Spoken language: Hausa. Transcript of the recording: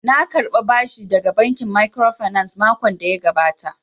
Na karɓa bashi daga bankin microfinance makon da ya gabata